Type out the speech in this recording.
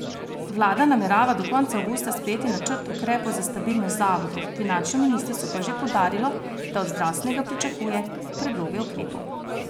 Vlada namerava do konca avgusta sprejeti načrt ukrepov za stabilnost zavodov, finančno ministrstvo pa je že poudarilo, da od zdravstvenega pričakuje predloge ukrepov.